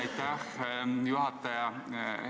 Aitäh, juhataja!